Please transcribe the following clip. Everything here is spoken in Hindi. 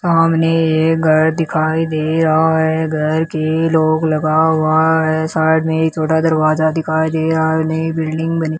सामने एक घर दिखाई दे रहा है घर के लॉक लगा हुआ है साइड मे एक छोटा दरवाजा दिखाई दे रहा है नई बिल्डिंग बनी --